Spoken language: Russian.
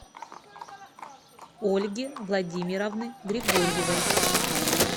ольги владимировны григорьевой